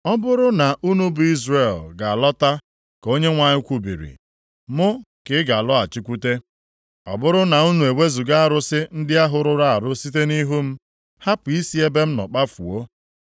“Ọ bụrụ na unu bụ Izrel, ga-alọta, ka Onyenwe anyị kwubiri, mụ ka ị ga-alọghachikwute,” “Ọ bụrụ na unu ewezuga arụsị ndị ahụ rụrụ arụ site nʼihu m, hapụ isi ebe m nọ kpafuo,